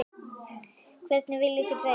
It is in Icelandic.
Hverju viljið þið breyta?